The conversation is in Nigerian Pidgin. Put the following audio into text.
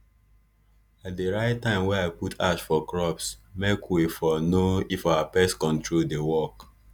i dey write time wey i put ash for crops make wey for know if our pest control dey work